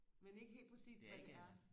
men ikke helt præcist hvad det er